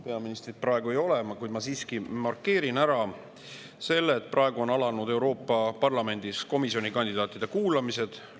Peaministrit praegu ei ole, kuid ma siiski markeerin ära selle, et Euroopa Parlamendis on alanud komisjoni kandidaatide kuulamised.